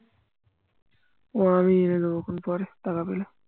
ও আমি এনেদেব তখন টাকা পেলে